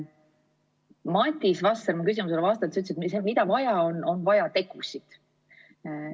Madis Vasser ütles mu küsimusele vastates, et on vaja tegusid.